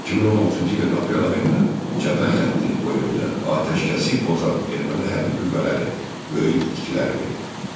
2016-cı ilin aprel ayında cəbhə xətti boyunca atəşkəsi pozan erməni hərbi qüvvələri böyük itkilər verdi.